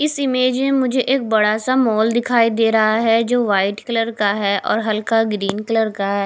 इस इमेज में मुझे एक बड़ा सा माल दिखाई दे रहा है जो वाइट कलर का है और हल्का ग्रीन कलर का है।